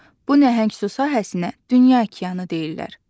Bu nəhəng su sahəsinə dünya okeanı deyirlər.